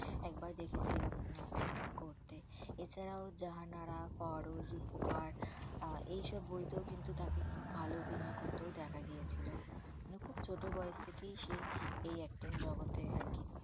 একবার দেখেছিলাম acting করতে এছাড়াও জাহানারা পারুল উপকার আর এই সব বইতেও কিন্তু তাকে খুব ভালো অভিনয় করতেও দেখা গিয়েছিল। আর খুব ছোট বয়েস থেকেই সে এই acting জগতে আরকি